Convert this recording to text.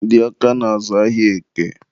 ndị Ọka na-azụ ahịa Eke.